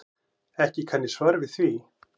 Ekki kann ég svar við því.